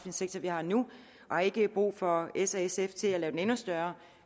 sektor vi har nu og har ikke brug for s og sf til at lave den endnu større